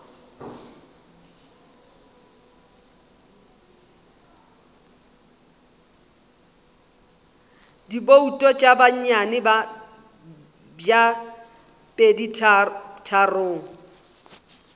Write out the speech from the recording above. dibouto tša bonnyane bja peditharong